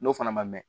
N'o fana ma mɛɛn